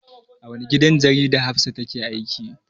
A wani gidan jarida Hafsah take aiki.